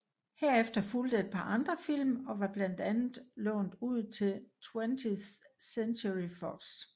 Herefter fulgte et par andre film og var blandt andet lånt ud til 20th Century Fox